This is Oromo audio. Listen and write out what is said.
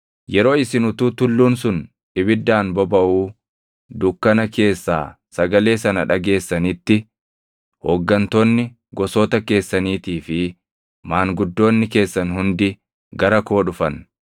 Yeroo isin utuu tulluun sun ibiddaan bobaʼuu dukkana keessaa sagalee sana dhageessanitti, hooggantoonni gosoota keessaniitii fi maanguddoonni keessan hundi gara koo dhufan.